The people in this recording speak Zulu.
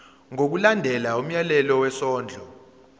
ngokulandela umyalelo wesondlo